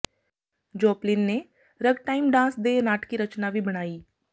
Joplin ਨੇ ragtime dance ਦੇ ਨਾਟਕੀ ਰਚਨਾ ਵੀ ਬਣਾਈ